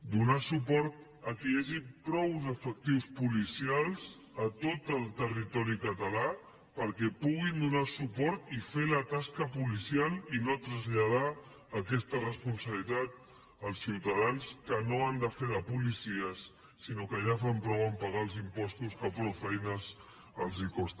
donar suport que hi hagi prou efectius policials a tot el territori català perquè puguin donar suport i fer la tasca policial i no traslladar aquesta responsabilitat als ciutadans que no han de fer de policies sinó que ja fan prou a pagar els impostos que prou feina els costa